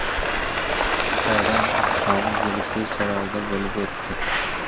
Bayram oqshomi Yelisey saroyida bo‘lib o‘tdi.